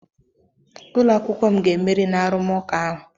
Ụlọ akwụkwọ m ga-emeri na arụmụka ahu.